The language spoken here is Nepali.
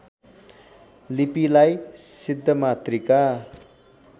लिपिलाई सिद्धमातृका